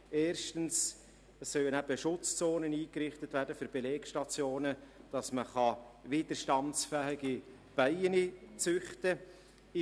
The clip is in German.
Erstens sollen Schutzzonen für Belegstationen eingerichtet werden, um widerstandsfähige Bienen züchten zu können.